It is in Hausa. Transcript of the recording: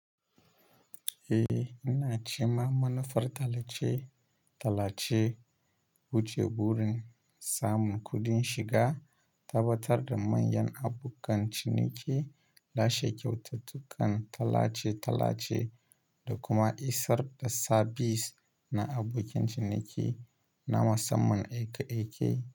Eh, ina cema manufar tallace-tallace wuce burin samun kuɗin shiga, tabbatar da manyan abokan ciniki, lashe kyaututtukan tallace-tallace da kuma isar da sa bis na abokin ciniki na musamman aiki-aiki.